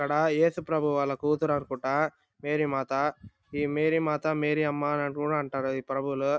ఇక్కడ ఏసుప్రభువు వాళ్ళ కూతురు అనుకుంటా మేరిమాత. ఈ మేరీమాత మేరీ అమ్మ అని కూడా అంటారు ఈ ప్రభువులు .